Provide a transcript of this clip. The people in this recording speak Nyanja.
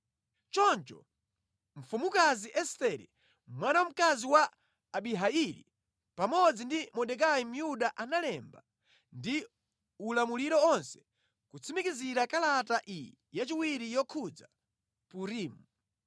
Choncho mfumukazi Estere, mwana wa mkazi wa Abihaili, pamodzi ndi Mordekai Myuda analemba ndi ulamuliro onse kutsimikizira kalata iyi yachiwiri yokhudza Purimu.